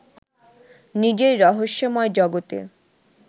নিজের রহস্যময় জগতে